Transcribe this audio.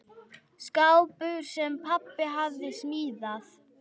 Skápur, sem pabbi hafði smíðað.